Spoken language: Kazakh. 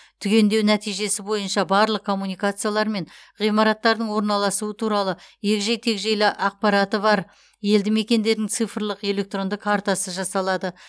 түгендеу нәтижесі бойынша барлық коммуникациялар мен ғимараттардың орналасуы туралы егжей тегжейлі ақпараты бар елді мекендердің цифрлық электронды картасы жасалады